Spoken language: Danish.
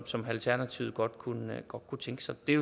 som alternativet godt kunne kunne tænke sig det er